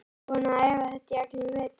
Búinn að æfa þetta í allan vetur.